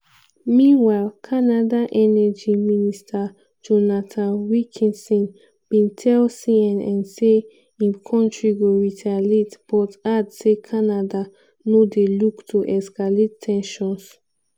meanwhile canada energy minister jonathan wilkinson bin tell cnn say im kontri go retaliate but add say canada no dey look to escalate ten sions.